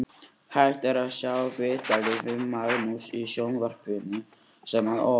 Hægt er að sjá viðtalið við Magnús í sjónvarpinu hér að ofan.